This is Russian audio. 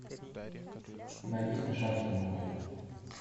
найди смешарики новые